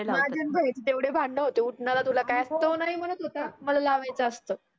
माझे आणी बहिनीचे एवढे भांडनं होते उटनंला तुला काय. तो नाही म्हणत होता मला लावायचं असतं.